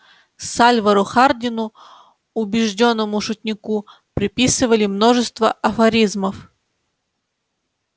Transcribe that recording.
сальвору хардину убеждённому шутнику приписывали множество афоризмов